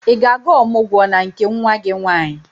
Ị ga-aga ọmụgwọ na nke nwa gị nwaanyị?